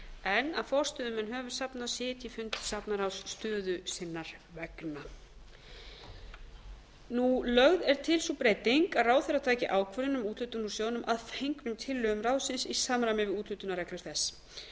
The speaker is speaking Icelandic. en að forstöðumenn höfuðsafna sitji fundi safnaráðs stöðu sinnar vegna lögð er til sú breyting að ráðherra taki ákvörðun um úthlutun úr sjóðnum að fengnum tillögum ráðsins í samræmi við úthlutunarreglur þess